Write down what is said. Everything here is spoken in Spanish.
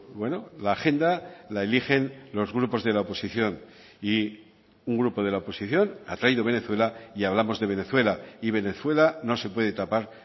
bueno la agenda la eligen los grupos de la oposición y un grupo de la oposición ha traído venezuela y hablamos de venezuela y venezuela no se puede tapar